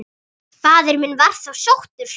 Faðir minn var þá sóttur.